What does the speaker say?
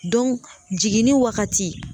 jiginni wagati